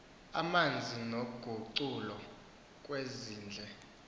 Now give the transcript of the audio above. amanzi noguculo kwelindle